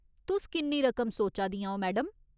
तुस किन्नी रकम सोचा दियां ओ, मैडम ?